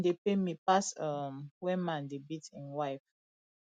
nothing dey pain me pass um when man dey beat im wife